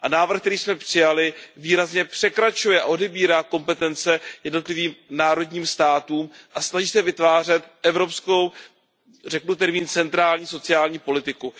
Návrh, který jsme přijali, výrazně překračuje a odebírá kompetence jednotlivým národním státům a snaží se vytvářet evropskou, řekněme centrální sociální politiku.